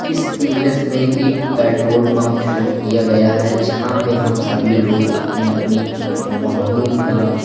इस इमेज में एक पेट्रोल पंप शो किया गया है जहां पे हम सभी लोग अपनी अपनी वाहनों का--